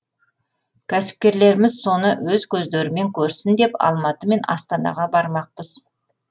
кәсіпкерлеріміз соны өз көздерімен көрсін деп алматы мен астанаға бармақпыз